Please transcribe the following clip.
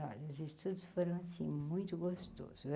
Os estudos foram assim, muito gostoso.